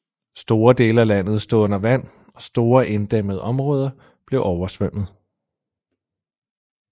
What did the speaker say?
Store dele af landet stod under vand og store inddæmmede områder blev oversvømmet